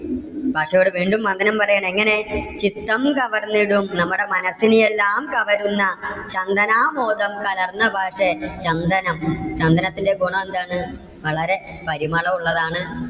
മാഷ് ഇവിടെ വീണ്ടും വന്ദനം പറയുകയാണ്. എങ്ങനെ? ചിത്തം കവർന്നിടും നമ്മുടെ മനസ്സിനെ എല്ലാം കവരുന്ന ചന്തനാമോദം കലർന്ന ഭാഷേ. ചന്ദനം ചന്ദനത്തിന്റെ ഗുണം എന്താണ്? വളരെ പരിമളം ഉള്ളതാണ്.